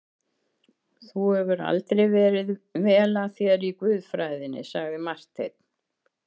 Þú hefur aldrei verið vel að þér í guðfræðinni, sagði Marteinn.